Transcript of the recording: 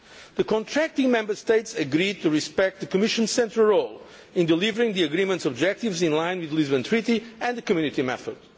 The contracting Member States agreed to respect the Commission's central role in delivering the Agreement's objectives in line with the Lisbon Treaty and the Community method.